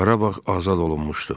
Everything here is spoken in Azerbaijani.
Qarabağ azad olunmuşdu.